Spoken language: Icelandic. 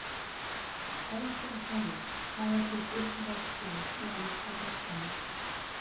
Erfitt að segja Hvað er þitt uppáhalds lið í enska boltanum?